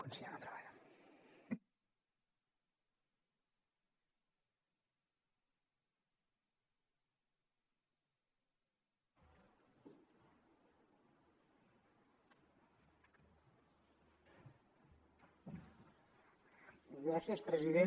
gràcies president